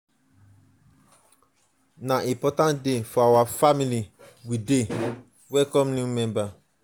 na important day for our family we dey welcome new member.